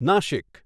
Nashik